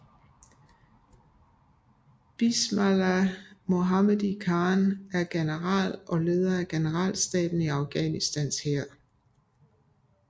Bismillah Mohammadi Khan er General og leder af generalstaben i Afghanistans hær